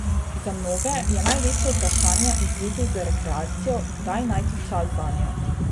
Za mnoge je največje vprašanje v zvezi z rekreacijo, kdaj najti čas zanjo.